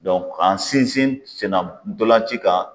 k'an sinsin sennan tolanci kan.